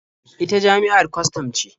Ita jami'ar kwastam ce.